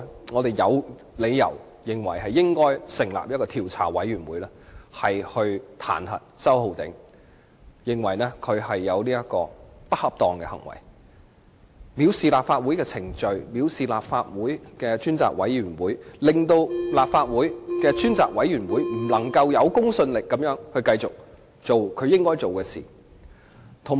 我們有理由認為應該成立調查委員會來譴責周浩鼎議員，因他透過不恰當行為，藐視立法會的程序和專責委員會，令專責委員會不能有公信力地繼續做其應做的事。